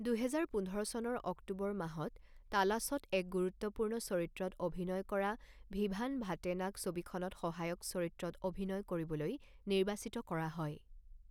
দুহেজাৰ পোন্ধৰ চনৰ অক্টোবৰ মাহত তালাশত এক গুৰুত্বপূৰ্ণ চৰিত্ৰত অভিনয় কৰা ভিভান ভাটেনাক ছবিখনত সহায়ক চৰিত্ৰত অভিনয় কৰিবলৈ নিৰ্বাচিত কৰা হয়।